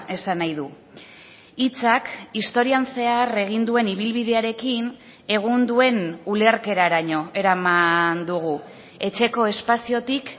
esan nahi du hitzak historian zehar egin duen ibilbidearekin egun duen ulerkeraraino eraman dugu etxeko espaziotik